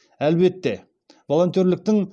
әлбетте волонтерліктің